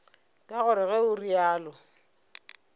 ke gore ge o realo